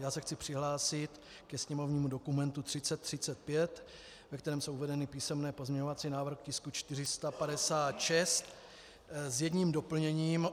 Já se chci přihlásit ke sněmovnímu dokumentu 3035, ve kterém jsou uvedeny písemné pozměňovací návrhy k tisku 456, s jedním doplněním.